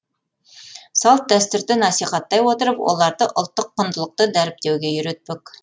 салт дәстүрді насихаттай отырып оларды ұлттық құндылықты дәріптеуге үйретпек